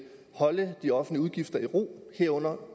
holde de offentlige udgifter i ro herunder